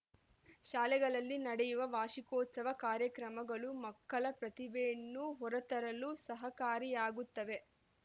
ಶಾಲೆಗಳಲ್ಲಿ ನಡೆಯುವ ವಾರ್ಷಿಕೋತ್ಸವ ಕಾರ್ಯಕ್ರಮಗಳು ಮಕ್ಕಳ ಪ್ರತಿಭೆಯನ್ನು ಹೊರತರಲು ಸಹಕಾರಿಯಾಗುತ್ತವೆ